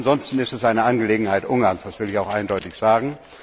Ansonsten ist es eine Angelegenheit Ungarns, das will ich eindeutig sagen.